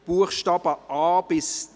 Buchstaben a–d